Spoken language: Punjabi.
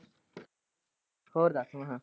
ਹੋਰ ਦਸ ਹੁਣ।